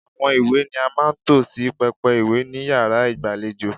Àwọn ìwé ni a máa ń tò sí pẹpẹ ìwé ni yàrá ìgbàlejò.